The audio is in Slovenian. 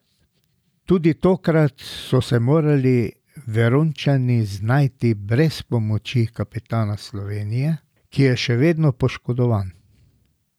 Tudi tokrat so se morali Verončani znajti brez pomoči kapetana Slovenije, ki je še vedno poškodovan.